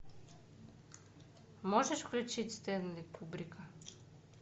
можешь включить стэнли кубрика